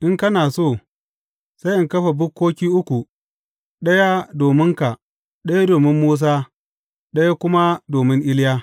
In kana so, sai in kafa bukkoki uku, ɗaya dominka, ɗaya domin Musa, ɗaya kuma domin Iliya.